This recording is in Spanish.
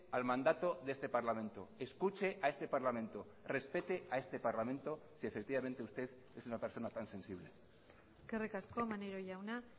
al mandato de este parlamento escuche a este parlamento respete a este parlamento si efectivamente usted es una persona tan sensible eskerrik asko maneiro jauna